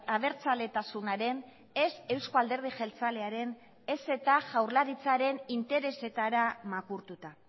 abertzaletasunaren ez eusko alderdi jeltzalearen ez eta jaurlaritzaren interesetara makurtuta